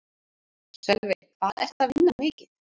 Sölvi: Hvað ertu að vinna mikið?